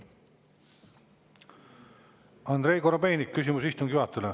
Andrei Korobeinik, küsimus istungi juhatajale.